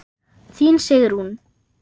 Þín Sigrún.